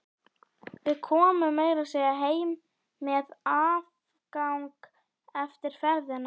Við komum meira að segja heim með afgang eftir ferðina.